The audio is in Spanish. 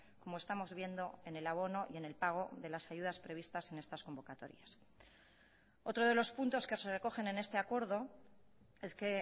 como estamos viendo en el abono y en el pago de las ayudas previstas en estas convocatorias otro de los puntos que se recogen en este acuerdo es que